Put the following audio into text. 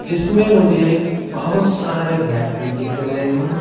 जिसमें मुझे बहुत सारे व्यक्ति दिख रहे हैं।